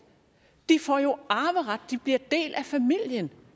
de får jo arveret de bliver en del af familien